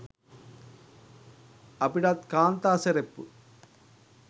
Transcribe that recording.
අපිටත් කාන්තා සෙරප්පු